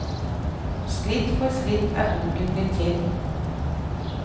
Skritt for skritt er boken blitt til.